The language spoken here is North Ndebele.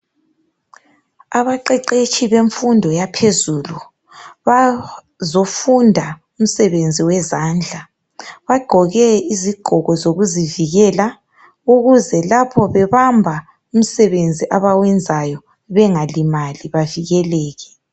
Abaqeqeshi bemfundo yaphezulu bazofunda imsebenzi yezandla bagqoke izigqoko zokuzivikela ukuze lapha bebamba imsebenzi abayenzayo bengalimali bevikeleke